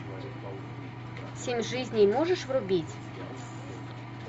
семь жизней можешь врубить